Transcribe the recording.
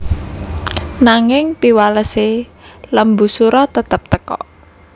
Nanging piwalese Lembusura tetep teka